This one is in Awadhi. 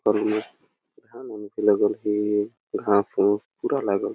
और ये लागल हे घास - उस पूरा लागल हे।